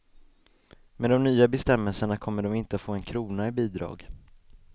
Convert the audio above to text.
Med de nya bestämmelserna kommer de inte att få en krona i bidrag.